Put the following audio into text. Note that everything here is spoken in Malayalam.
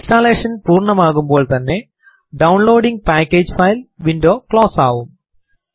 ഇൻസ്റ്റലേഷൻ പൂർണമാകുമ്പോൾ തന്നെ downloading package file window close ആവും